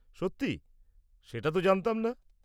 -সত্যি? সেটা তো জানতাম না।